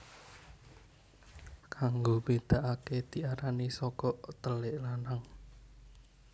Kanggo mbedakake diarani sogok telik lanang